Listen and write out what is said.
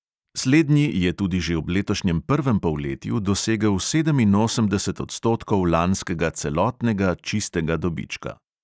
Slednji je tudi že ob letošnjem prvem polletju dosegel sedeminosemdeset odstotkov lanskega celotnega čistega dobička.